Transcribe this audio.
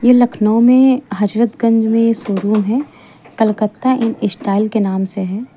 ये लखनऊ में हजरतगंज में शोरूम है कलकत्ता इन स्टाइल के नाम से है।